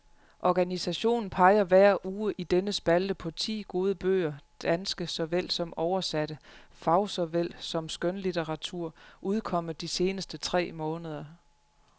Organisationen peger hver uge i denne spalte på ti gode bøger danske såvel som oversatte, fagsåvel som skønlitteratur, udkommet de seneste tre måneder.